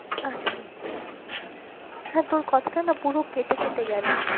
আছি হ্যাঁ তোর কথাটা না পুরো কেটে কেটে গেলো।